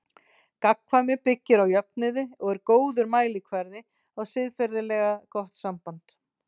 Gagnkvæmni byggir á jöfnuði og er góður mælikvarði á siðferðilega gott samband.